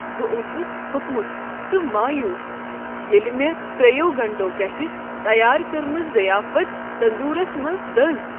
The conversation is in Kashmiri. بہٕ اوسس تھوٚکمت تہٕ مایوس ییٚلہ مےٚ ترٛیٚیو گنٹو پیٹھٕ تیار کٔرمٕژ ضیافت تندورس منٛز دٔز۔